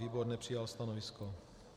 Výbor nepřijal stanovisko.